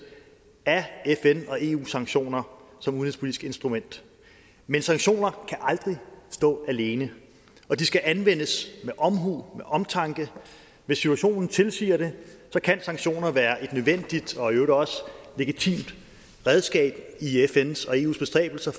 af fn og eu sanktioner som udenrigspolitisk instrument men sanktioner kan aldrig stå alene og de skal anvendes med omhu og omtanke hvis situationen tilsiger det kan sanktioner være et nødvendigt og i øvrigt også legitimt redskab i fns og eus bestræbelser